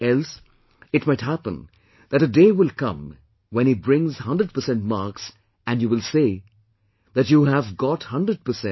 Else, it might happen that a day will come when he brings 100% marks and you will say that, "you have got 100 percent